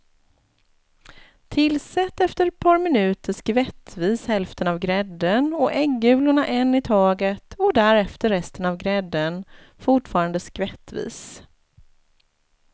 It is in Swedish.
Tillsätt efter ett par minuter skvättvis hälften av grädden och äggulorna en i taget och därefter resten av grädden, fortfarande skvättvis.